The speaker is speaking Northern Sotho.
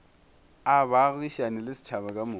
a baagišane le setšhaba kamoka